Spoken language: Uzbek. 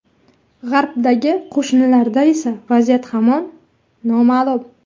G‘arbdagi qo‘shnilarda esa vaziyat hamon noma’lum.